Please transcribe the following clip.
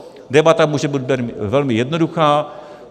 Debata může být velmi jednoduchá.